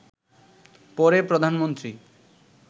পরে প্রধানমন্ত্রী